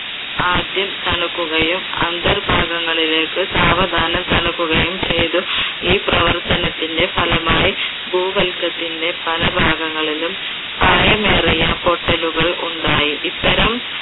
ആദ്യം തണുക്കുകയും അന്ധർ ഭാഗങ്ങളിലേക്ക് സാവധാനം തണുക്കുകയും ചെയ്തു. ഈ പ്രവർത്തനത്തിന്റെ ഫലമായി ഭൂവല്കത്തിന്റെ പല ഭാഗങ്ങളിലും ആഴമേറിയ പൊട്ടലുകൾ ഉണ്ടായി. ഇത്തരം